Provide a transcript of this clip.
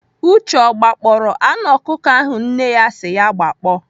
Uche o gbakpọọrọ anụ ọkụkọ ahụ nne si ya gbakpọ?